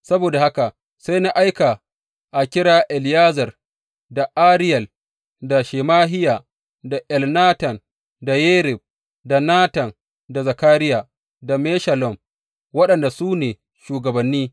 Saboda haka sai na aika a kira Eliyezer, da Ariyel, da Shemahiya, da Elnatan, da Yarib, da Natan, da Zakariya, da Meshullam waɗanda su ne shugabanni.